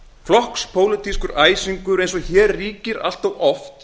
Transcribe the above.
flokkspólitískur æsingur eins og hér ríkir allt oft